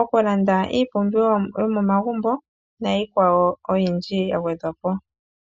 okulanda iipumbiwa yomomagumbo niikwawo oyindji ya gwedhwa po.